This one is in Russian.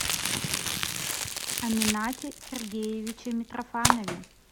аминате сергеевиче митрофанове